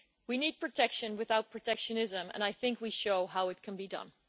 We need protection without protectionism, and I think we show how it can be done.